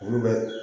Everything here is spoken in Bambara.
Olu bɛ